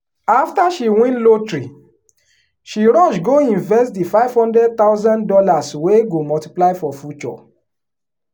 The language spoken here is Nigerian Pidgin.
after she win lotteryshe rush go invest the five hundred thousand dollars wey go multiply for future